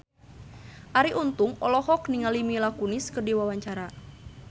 Arie Untung olohok ningali Mila Kunis keur diwawancara